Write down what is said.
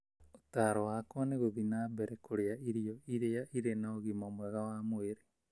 Ũtaaro wakwa nĩ gũthiĩ na mbere kũrĩa irio iria irĩ na ũgima mwega wa mwĩrĩ.